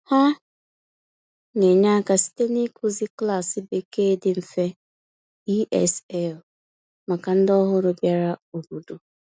Ha na-enye aka site n’ịkụzi klaasị Bekee dị mfe (ESL) maka ndị ọhụrụ bịara obodo.